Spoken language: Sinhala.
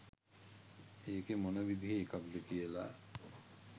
ඒක මොන විදිහේ එකක්ද කියලා